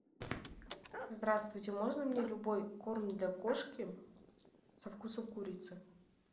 здравствуйте можно мне любой корм для кошки со вкусом курицы